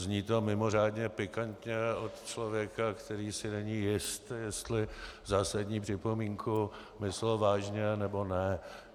Zní to mimořádně pikantně od člověka, který si není jist, jestli zásadní připomínku myslel vážně, nebo ne.